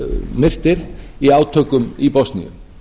myrtir í átökum í bosníu